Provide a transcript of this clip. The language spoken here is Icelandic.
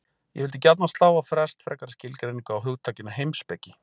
Ég vildi gjarnan slá á frest frekari skilgreiningu á hugtakinu heimspeki.